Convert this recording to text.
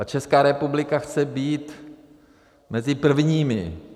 A Česká republika chce být mezi prvními.